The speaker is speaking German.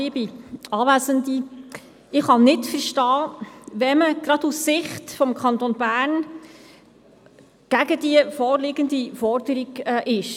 Ich kann nicht verstehen, wenn man gerade aus Sicht des Kantons Bern gegen die vorliegende Forderung ist.